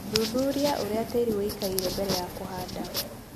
Thuthuria ũrĩa tĩri wĩikaire mbere ya kũhanda.